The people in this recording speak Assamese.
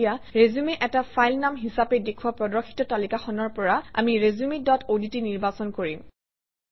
এতিয়া ৰিচিউম এটা ফাইল নাম হিচাপে দেখুওৱা প্ৰদৰ্শিত তালিকাখনৰ পৰা আমি ৰিচিউম ডট অডট নিৰ্বাচন কৰিম